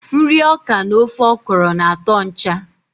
Nri ọkà na ofe okro na atọ ncha.